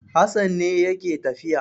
Hassan ne yake tafiya.